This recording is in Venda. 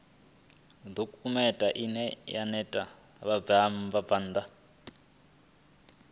dokhumenthe ine ya ṋea vhabvann